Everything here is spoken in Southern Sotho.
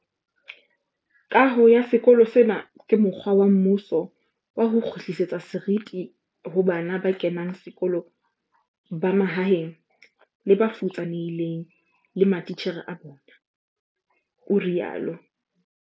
Kaho ya sekolo sena ke mokgwa wa mmuso wa ho kgutlisetsa seriti ho bana ba kenang sekolo ba mahaeng le ba futsanehileng le matitjhere a bona, o rialo.